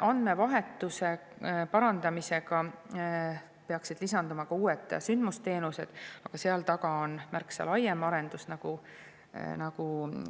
Andmevahetuse parandamisega peaksid lisanduma ka uued sündmusteenused, aga seal taga on märksa laiem arendus, nagu